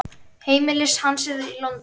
Heimili hans er í London.